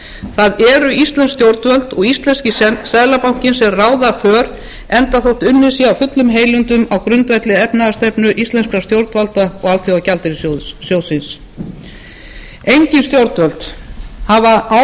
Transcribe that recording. það eru íslensk stjórnvöld og íslenski seðlabankinn sem ráða för enda þótt unnið sé af fullum heilindum á grundvelli efnahagsstefnu íslenskra stjórnvalda og alþjóðagjaldeyrissjóðsins engin stjórnvöld hafa áður tekist